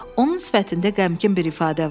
Onun sifətində qəmgin bir ifadə var.